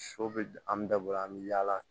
Sɔ bɛ an bɛ da bolo an bɛ yaala